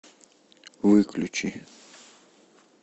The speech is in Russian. выключи